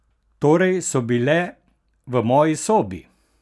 Torej so bile v moji sobi?